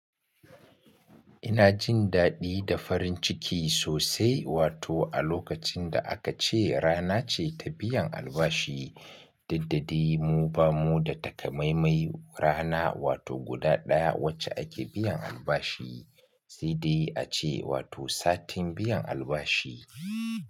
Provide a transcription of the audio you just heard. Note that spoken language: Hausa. Ina jin daɗi da farin ciki sosai wato a lokacin da aka ce rana ce ta biyan albashi, duddadi mu bamu da takamaimai rana wato guda ɗaya wacce ake biyan albashi, sai dai ace wato satin biyan albashi.